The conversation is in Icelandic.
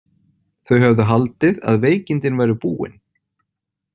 Þau höfðu haldið að veikindin væru búin.